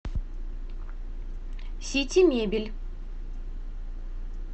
сити мебель